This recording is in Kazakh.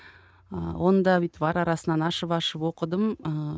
ыыы оны да бүйтіп ара арасынан ашып ашып оқыдым ыыы